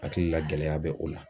Hakili la gɛlɛya bɛ o la.